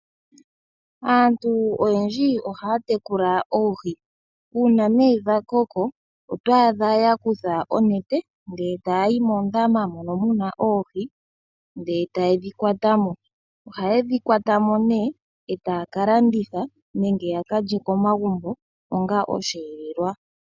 Aantu oyendji ohaya tekula oohi. Uuna dha koko oto adha ya kutha oonete, e ta ya yi moondama mono mu na oohi e ta ye dhi kwata mo. Oha ye dhi kwata mo e ta ya ka landitha nenge ya ka lye komagumbo onga osheelelwa.